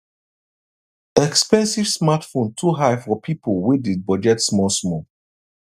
expensive smartphone too high for people wey dey budget small small